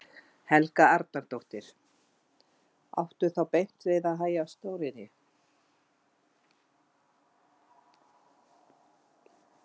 Helga Arnardóttir: Áttu þá beint við að hægja á stóriðju?